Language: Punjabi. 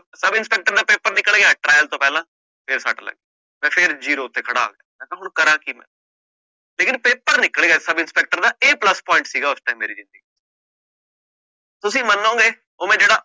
ਸਬ ਇੰਸਪੈਕਟਰ ਦਾ ਪੇਪਰ ਨਿਕਲ ਗਿਆ trial ਤੋਂ ਪਹਿਲਾਂ ਫਿਰ ਸੱਟ ਲੱਗੀ ਮੈਂ ਫਿਰ zero ਤੇ ਖੜਾ, ਮੈਂ ਕਿਹਾ ਹੁਣ ਕਰਾਂ ਕੀ ਲੇਕਿੰਨ ਪੇਪਰ ਨਿਕਲ ਗਿਆ ਸਬ ਇੰਸਪੈਕਟਰ ਦਾ ਇਹ plus point ਸੀਗਾ ਉਸ time ਮੇਰੀ ਜ਼ਿੰਦਗੀ ਚ ਤੁਸੀਂ ਮੰਨੋਗੇ ਉਹ ਮੈਂ ਜਿਹੜਾ